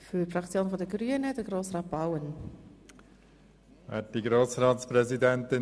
Ich habe es schon im Rahmen des Eintretensvotums gesagt: